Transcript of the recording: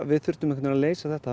að leysa þetta